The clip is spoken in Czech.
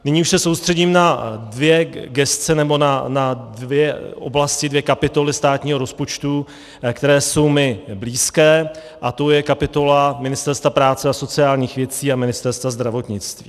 Nyní už se soustředím na dvě gesce nebo na dvě oblasti, dvě kapitoly státního rozpočtu, které jsou mi blízké, a to je kapitola Ministerstva práce a sociálních věcí a Ministerstva zdravotnictví.